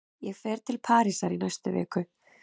Ég fer til Parísar í næstu viku.